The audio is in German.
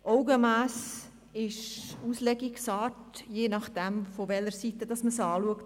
Augenmass ist Auslegungssache, je nachdem von welcher Seite man es betrachtet;